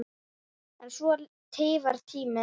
En svona tifar tíminn.